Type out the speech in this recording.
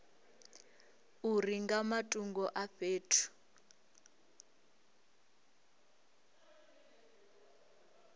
uri nga matungo a fhethu